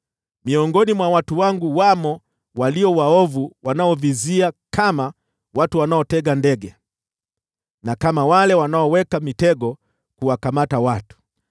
“Miongoni mwa watu wangu wamo walio waovu wanaovizia kama watu wanaotega ndege, na kama wale wanaoweka mitego kuwakamata watu.